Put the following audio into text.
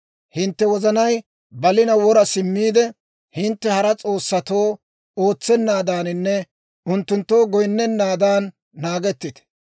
«Hintte wozanay balina wora simmiide, hintte hara s'oossatoo ootsenaadaaninne unttunttoo goyinnennaadan naagettite.